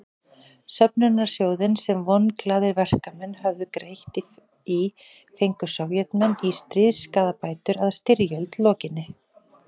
Söfnunarsjóðinn sem vonglaðir verkamenn höfðu greitt í fengu Sovétmenn í stríðsskaðabætur að styrjöld lokinni.